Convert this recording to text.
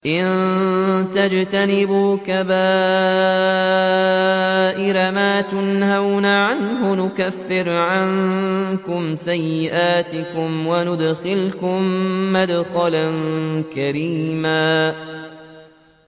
إِن تَجْتَنِبُوا كَبَائِرَ مَا تُنْهَوْنَ عَنْهُ نُكَفِّرْ عَنكُمْ سَيِّئَاتِكُمْ وَنُدْخِلْكُم مُّدْخَلًا كَرِيمًا